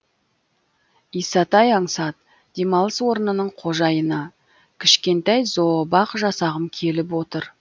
исатай аңсат демалыс орнының қожайыны кішкентай зообақ жасағым келіп отыр